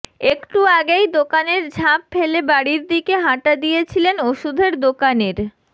একটু আগেই দোকানের ঝাঁপ ফেলে বাড়ির দিকে হাঁটা দিয়েছিলেন ওষুধের দোকানের